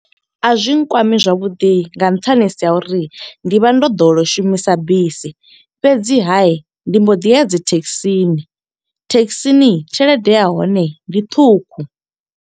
A zwi nkwami zwavhuḓi nga nṱhani ha uri, ndi vha ndo ḓowela u shumisa bisi. Fhedziha ndi mbo ḓi ya dzi thekhisini, thekhisini tshelede ya hone ndi ṱhukhu.